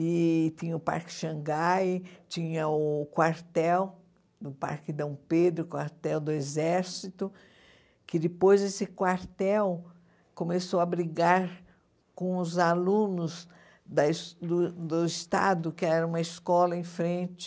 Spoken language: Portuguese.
E tinha o Parque Xangai, tinha o quartel do Parque Dom Pedro, o quartel do Exército, que depois desse quartel começou a brigar com os alunos da es do do Estado, que era uma escola em frente